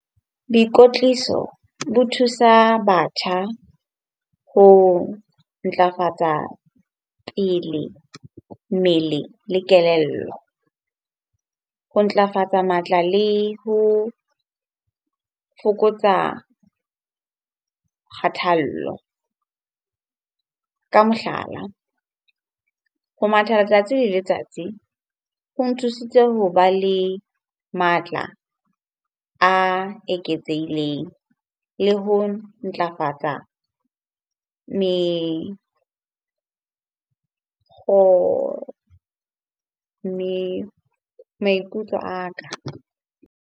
Boikotliso bo thusa batjha ho ntlafatsa pele mmele le kelello. Ho ntlafatsa matla le ho fokotsa kgathallo. Ka mohlala, ho matha letsatsi le letsatsi ho nthusitse hoba le matla a eketseileng le ho ntlafatsa mme maikutlo a ka.